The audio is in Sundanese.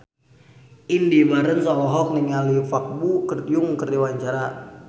Indy Barens olohok ningali Park Bo Yung keur diwawancara